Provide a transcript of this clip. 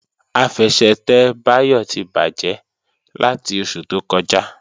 Àfẹsẹ̀tẹ̀ Báyọ̀ ti bàjẹ́ láti oṣù tó kọjá